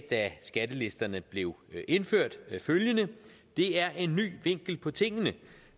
da skattelisterne blev indført følgende det er en ny vinkel på tingene